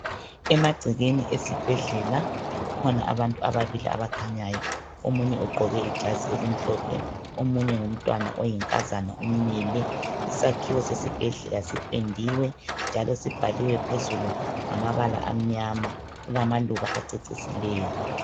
Emagcekeni esibhedlela kukhona abantu ababili abakhanyayo omunye ugqoke ijazi elimhlophe omunye ngumntwana oyinkazana umile, isakhiwo sesibhedlela sipendiwe njalo sibhaliwe phezulu ngamabala amnyama kulamaluba acecisileyo.